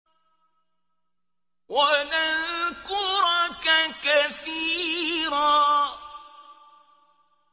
وَنَذْكُرَكَ كَثِيرًا